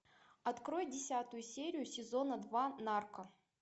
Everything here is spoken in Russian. открой десятую серию сезона два нарко